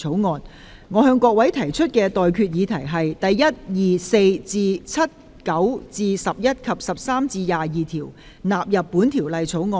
我現在向各位提出的待決議題是：第1、2、4至7、9至11及13至22條納入本條例草案。